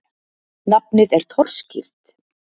Nafnið er torskýrt.